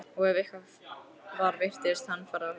Og ef eitthvað var virtist hann fara stækkandi.